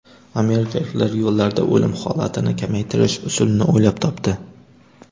Amerikaliklar yo‘llarda o‘lim holatini kamaytirish usulini o‘ylab topdi.